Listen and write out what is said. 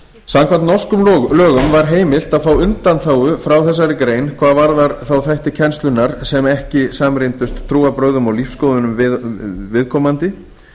samkvæmt norskum lögum var heimilt að fá undanþágu frá þessari grein hvað varðar þá þætti kennslunnar sem ekki samrýmdust trúarbrögðum og lífsskoðunum viðkomandi